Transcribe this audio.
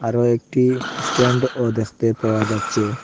আরও একটি স্ট্যান্ডও দেখতে পাওয়া যাচ্ছে।